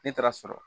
Ne taara sɔrɔ